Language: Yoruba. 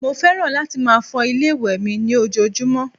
Mo fẹ́ràn láti máa fọ ilé-ìwẹ̀ mi ní ojoojúmọ́